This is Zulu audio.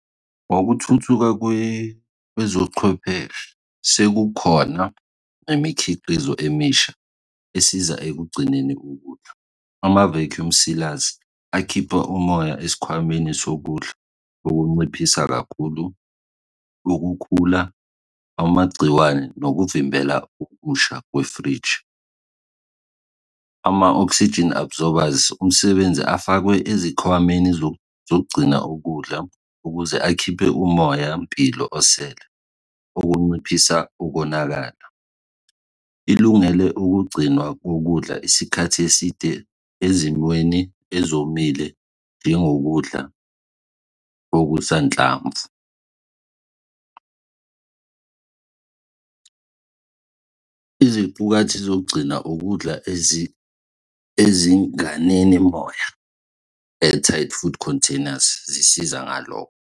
Ngokuthuthuka kwezochwepheshe, sekukhona imikhiqizo emisha esiza ekugcineni ukudla, ama-vecuume sealers akhipha umoya esikhwameni sokudla ukunciphisa kakhulu ukukhula, amagciwane nokuvimbela ukusha kwefriji. Ama-oxygen absorbers umsebenzi afakwe ezikhwameni zokugcina ukudla ukuze akhiphe umoyampilo osele ukunciphisa ukonakala. Ilungele ukugcinwa kokudla isikhathi eside ezimweni ezomile njengokudla okusanhlamvu. Izimpukathi zokugcina ukudla ezinganeli moya, entered food containers, zisiza ngalokho.